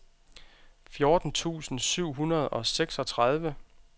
fjorten tusind syv hundrede og seksogtredive